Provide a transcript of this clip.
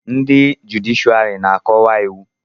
ndị jụdịshịàrị na-akọwa iwu